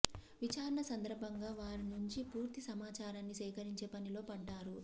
విచారణ సందర్భంగా వారి నుంచి పూర్తి సమాచారాన్ని సేకరించే పనిలో పడ్డారు